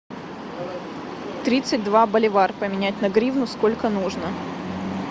тридцать два боливар поменять на гривну сколько нужно